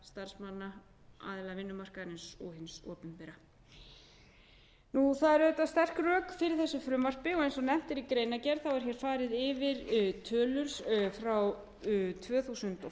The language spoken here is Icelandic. starfsmanna aðila vinnumarkaðarins og hins opinbera það eru auðvitað sterk rök fyrir þessu frumvarpi og eins og nefnt er í greinargerð er hér farið yfir tölur frá tvö þúsund og